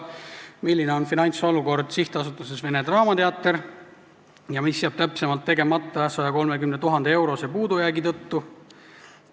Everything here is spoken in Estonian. Milline on finantsolukord SA-s Vene Teater ja mis jääb täpsemalt tegemata 130 000 euro suuruse puudujäägi tõttu?